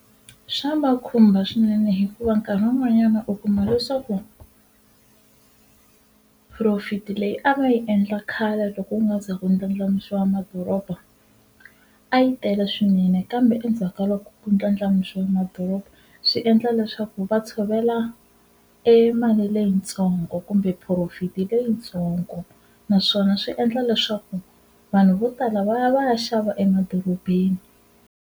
Swa va khumba swinene hikuva nkarhi wun'wanyana u kuma leswaku profit-i leyi a va yi endla khale loko ku nga za ku ndlandlamuxiwa madoroba a yi tele swinene kambe endzhaka loko ku ndlandlamuxiwe madoroba swi endla leswaku va tshovela e mali leyitsongo kumbe phurofiti leyitsongo naswona swi endla leswaku vanhu vo tala va ya va ya xava emadorobeni.